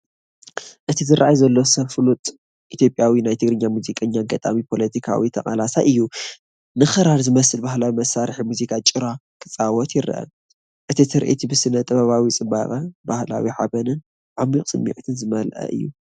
እቲ ዝራኣይ ዘሎ ሰብ ፍሉጥ ኢ/ያዊ ናይ ትግርኛ ሙዚቀኛ፡ ገጣሚ፡ ፖለቲካዊ ተቓላሳይ እዩ። ንክራር ዝመስል ባህላዊ መሳርሒ ሙዚቃ (ጭራ) ክጻወት ይረአ። እዚ ትርኢት ብስነ-ጥበባዊ ጽባቐ፡ ባህላዊ ሓበንን ዓሚቝ ስምዒትን ዝመልአ እዩ።